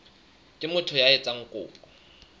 ke motho ya etsang kopo